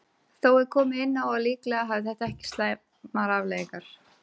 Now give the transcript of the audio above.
Þó er komið inn á að líklega hafi þetta ekki slæmar afleiðingar.